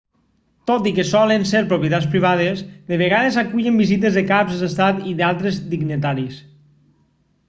tot i que solen ser propietats privades de vegades acullen visites de caps d'estat i d'altres dignataris